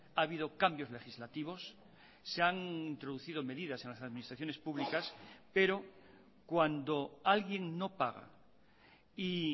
ha habido cambios legislativos se han introducido medidas en las administraciones públicas pero cuando alguien no paga y